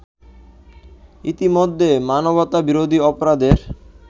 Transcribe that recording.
ইতিমধ্যে মানবতা-বিরোধী অপরাধের